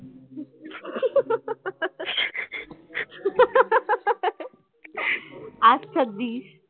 আচ্ছা দিস